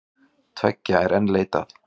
Tveggja er enn leitað.